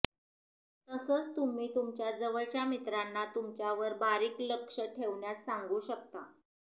तसंच तुम्ही तुमच्या जवळच्या मित्रांना तुमच्यावर बारीक लक्ष ठेवण्यास सांगू शकता